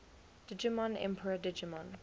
digimon emperor digimon